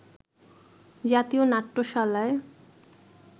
জাতীয় নাট্যশালায়